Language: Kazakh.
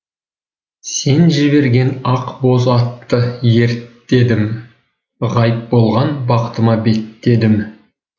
сен жіберген ақ боз атты ерттедім ғайып болған бақытыма беттедім